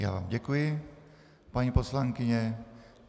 Já vám děkuji, paní poslankyně.